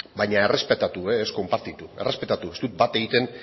baina errespetatu ez konpartitu errespetatu ez dut bat egiten